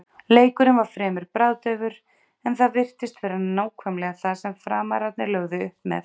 Leikurinn var fremur bragðdaufur en það virtist vera nákvæmlega það sem Framararnir lögðu upp með.